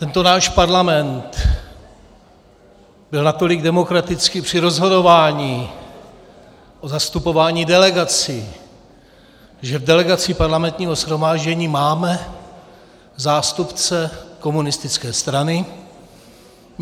Tento náš parlament byl natolik demokratický při rozhodování o zastupování delegací, že v delegaci parlamentního shromáždění máme zástupce komunistické strany.